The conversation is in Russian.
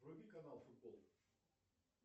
вруби канал футбол